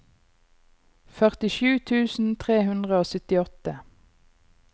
førtisju tusen tre hundre og syttiåtte